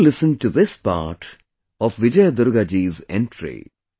Do listen to this part of Vijay Durga ji's entry